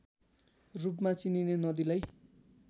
रूपमा चिनिने नदीलाई